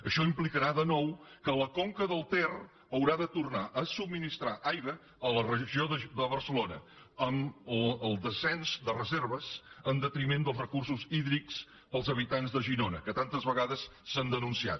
això implicarà de nou que la conca del ter haurà de tornar a subministrar aigua a la regió de barcelona amb el descens de reserves en detriment dels recursos hídrics per als habitants de girona que tantes vegades s’han denunciat